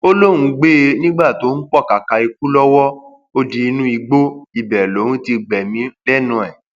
ó lóun gbé e e nígbà tó ń pọkàkà ikú lọwọ ó di inú igbó ibẹ lòun ti gbẹmí lẹnu ẹ